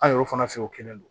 An yɛrɛw fana fɛ yen o kɛlen don